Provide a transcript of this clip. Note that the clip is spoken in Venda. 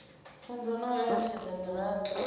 pfunzo na u eletshedza miraḓo